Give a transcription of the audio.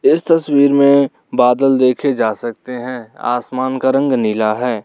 इस तस्वीर में बादल देखे जा सकते है आसमान का रंग नीला है।